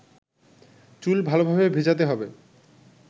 চুল ভালোভাবে ভেজাতে হবে